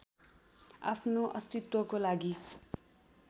आफ्नो अस्तित्वको लागि